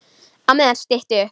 Á meðan stytti upp.